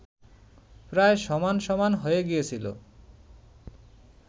প্রায় সমান সমান হয়ে গিয়েছিল